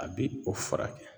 A bi o furakɛ.